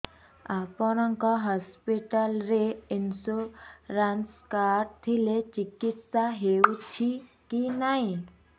ଆପଣଙ୍କ ହସ୍ପିଟାଲ ରେ insurance card ଥିଲେ ଚିକିତ୍ସା ହେଉଛି କି ନାଇଁ